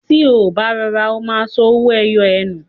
Tí ó bá rọra, ó ma sọ owó ẹyọ ẹ nù